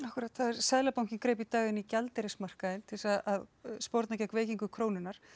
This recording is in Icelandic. seðlabankinn greip í dag inn í gjaldeyrismarkaðinn til þess að sporna gegn veikingu krónunnar